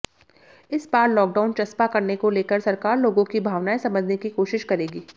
इस बार लॉकडाउन चस्पा करने को लेकर सरकार लोगों की भावनाएं समझने की कोशिश करेगी